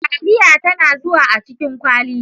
Taliya tana zuwa a cikin kwali.